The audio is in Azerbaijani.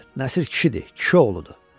Nəsir kişidir, kişi oğludur.